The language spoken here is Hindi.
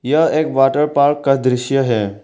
यह एक वाटर पार्क का दृश्य है।